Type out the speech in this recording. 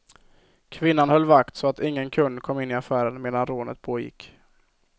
Kvinnan höll vakt så att ingen kund kom in i affären medan rånet pågick.